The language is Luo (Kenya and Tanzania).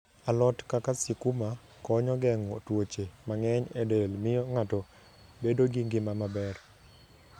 A lot kaka sikuma konyo geng'o tuoche mang'eny e del miyo ng'ato bedo gi ngima maber.